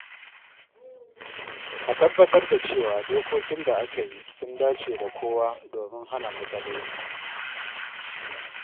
A tabbatar da cewa dokokin da aka yi sun dace da kowa domin hana matsaloli.